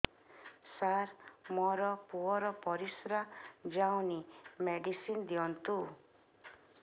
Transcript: ସାର ମୋର ପୁଅର ପରିସ୍ରା ଯାଉନି ମେଡିସିନ ଦିଅନ୍ତୁ